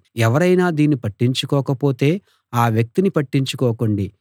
ఎవరైనా దీన్ని పట్టించుకోక పొతే అ వ్యక్తిని పట్టించుకోకండి